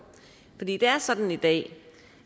men det er sådan i dag